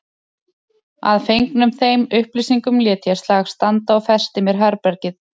Að fengnum þeim upplýsingum lét ég slag standa og festi mér herbergið.